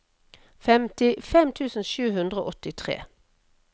femtifem tusen sju hundre og åttitre